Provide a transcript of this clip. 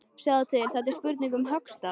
Sjáðu til, þetta er spurning um höggstað.